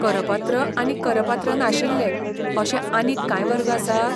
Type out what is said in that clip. करपात्र आनी करपात्र नाशिल्ले अशे आनीक कांय वर्ग आसात?